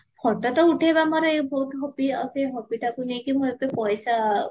photo ତ ଉଠେବା ମୋର ବହୁତ hobby ଆଉ ସେ hobbyଟାକୁ ନେଇକି ମୁଁ ଏବେ ପଇସା